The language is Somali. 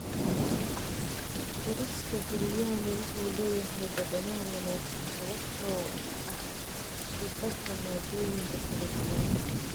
Bariiska Biryani wuxuu leeyahay dhadhan wanaagsan sababtoo ah isku darka maaddooyinka kala duwan.